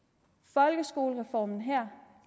folkeskolereformen her